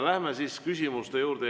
Läheme siis küsimuste juurde.